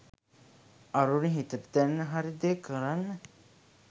අරුණි හිතට දැනෙන හරි දේ කරන්න